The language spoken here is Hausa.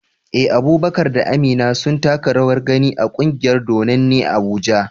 Eh, Abubakar da Amina sun taka rawar gani a kungiyar dodanni Abuja.